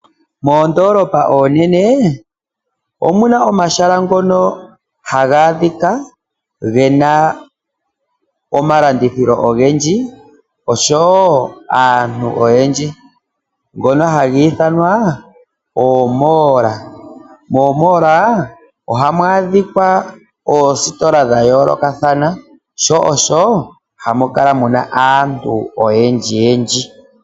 Moondolopa oonene omuna omahala ngoka haga adhika gena omalandithilo ogendji osho wo aantu oyendji ngoka haga iithanwa oomall, moomall ohamu adhika oositola dhayoolokathana sho osho hamu kala muna aantu oyendji yendji.